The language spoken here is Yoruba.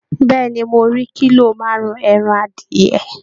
Bẹ́ẹ̀ ni, mo rí kílò márùn-ún ẹran adìyẹ